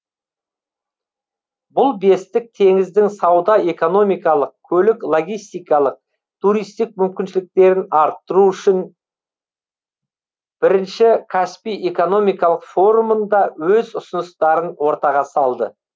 бұл бестік теңіздің сауда экономикалық көлік логистикалық туристік мүмкіншіліктерін арттыру үшін бірінші каспий экономикалық форумында өз ұсыныстарын ортаға салды